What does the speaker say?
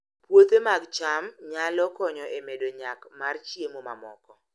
Puothe mag cham nyalo konyo e medo nyak mar chiemo mamoko